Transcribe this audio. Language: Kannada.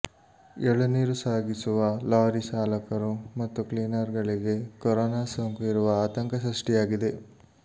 ಎಳನೀರು ಸಾಗಿಸುವ ಲಾರಿ ಚಾಲಕರು ಮತ್ತು ಕ್ಲೀನರ್ ಗಳಿಗೆ ಕೊರೋನಾ ಸೋಂಕು ಇರುವ ಆತಂಕ ಸೃಷ್ಟಿಯಾಗಿದೆ